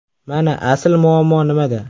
Mana asl muammo nimada!